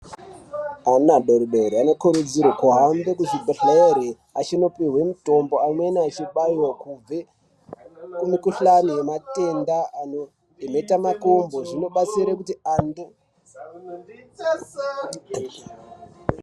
Ana adodori anokurudzirwa kuenda kuzvibhehlere achindopihwa mitombo amweni achibaiwa kubva kumikhuhlani yenhetamakumbo zvinobatsira .